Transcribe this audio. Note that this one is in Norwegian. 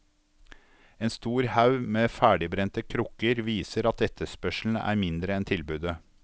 En stor haug med ferdigbrente krukker viser at etterspørselen er mindre enn tilbudet.